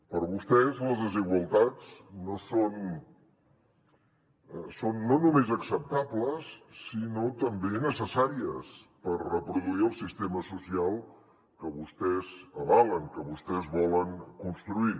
per vostès les desigualtats són no només acceptables sinó també necessàries per reproduir el sistema social que vostès avalen que vostès volen construir